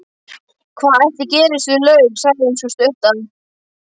Hvað ætli gerist við laug, sagði sú stutta.